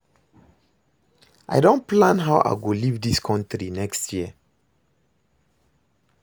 I don plan how I go leave dis country next year